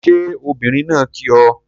Ṣé obìnrin náà kí ọ?